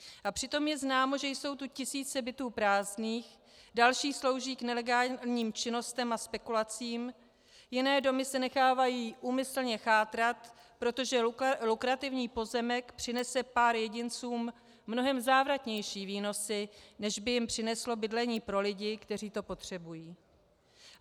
A přitom je známo, že jsou tu tisíce bytů prázdných, další slouží k nelegálním činnostem a spekulacím, jiné domy se nechávají úmyslně chátrat, protože lukrativní pozemek přinese pár jedincům mnohem závratnější výnosy, než by jim přineslo bydlení pro lidi, kteří to potřebují.